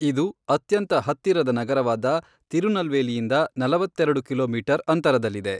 ಇದು ಅತ್ಯಂತ ಹತ್ತಿರದ ನಗರವಾದ ತಿರುನಲ್ವೇಲಿಯಿಂದ ನಲವತ್ತೆರೆಡು ಕಿಲೋಮೀಟರ್ ಅಂತರದಲ್ಲಿದೆ.